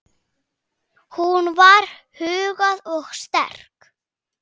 Hún var huguð og sterk.